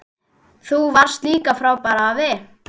Þú varst líka frábær afi.